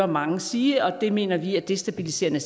mange sige og det mener vi er destabiliserende